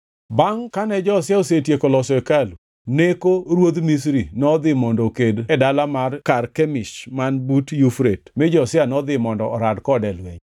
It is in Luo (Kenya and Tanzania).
Bangʼ kane Josia osetieko loso hekalu, Neko ruodh Misri nodhi mondo oked e dala mar Karkemish man but Yufrate mi Josia nodhi mondo orad kode e lweny.